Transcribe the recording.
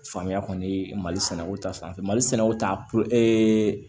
Faamuya kɔni mali sɛnɛko ta fan fɛ mali sɛnɛw ta